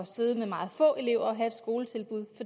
sidde med meget få elever i et skoletilbud